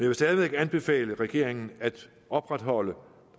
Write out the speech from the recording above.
vil stadig væk anbefale regeringen at opretholde